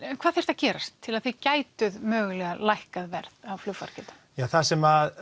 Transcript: hvað þyrfti að gerast til að þið gætuð mögulega lækkað verð á flugfargjöldum það sem